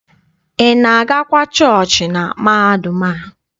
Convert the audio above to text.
Ị na-agakwa chọọchị na mahadum a?